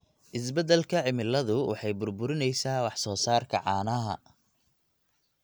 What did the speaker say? Isbeddelka cimiladu waxay burburinaysaa wax soo saarka caanaha.